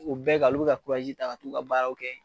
O bɛɛ kan o bi ka kurazi ta ka t'u ka baaraw kɛ